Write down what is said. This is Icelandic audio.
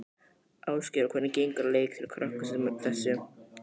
Ásgeir: Og hvernig gengur að leikstýra krökkum sem þessu?